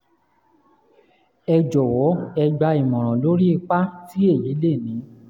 ẹ jọwọ ẹ gbà ìmọ̀ràn lórí ipa tí èyí lè ní